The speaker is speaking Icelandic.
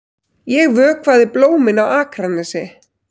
Ég vökvaði blómin á Akranesi.